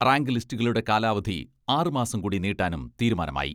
Rank ലിസ്റ്റുകളുടെ കാലാവധി ആറ് മാസം കൂടി നീട്ടാനും തീരുമാനമായി.